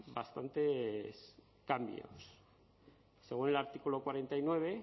bastantes cambios según el artículo cuarenta y nueve